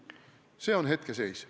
Selline on hetkeseis.